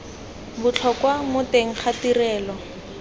botlhokwa mo teng ga tirego